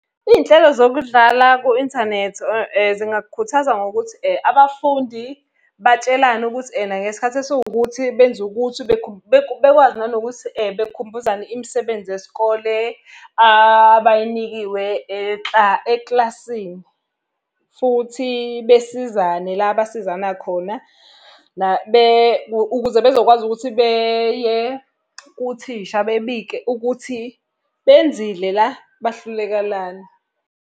Iy'nhlelo zokudlala ku-inthanethi zingakhuthaza ngokuthi abafundi batshelane ukuthi ena ngesikhathi esiwukuthi benze ukuthi bekwazi nanokuthi bekhumbuzane imisebenzi yesikole abayinikwe ekilasini. Futhi besizane la abasizana khona. Ukuze bezokwazi ukuthi beye kuthisha bebike ukuthi, benzile la, bahluleka lana.